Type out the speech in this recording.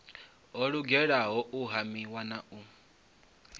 ho lugela u hamiwa na